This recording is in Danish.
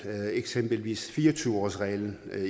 eksempelvis med fire og tyve årsreglen